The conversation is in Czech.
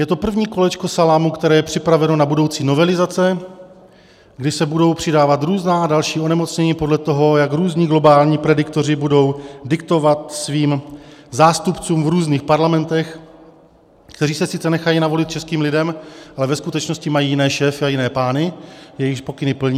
Je to první kolečko salámu, které je připraveno na budoucí novelizace, kdy se budou přidávat různá další onemocnění podle toho, jak různí globální prediktoři budou diktovat svým zástupcům v různých parlamentech, kteří se sice nechají navolit českým lidem, ale ve skutečnosti mají jiné šéfy a jiné pány, jejichž pokyny plní.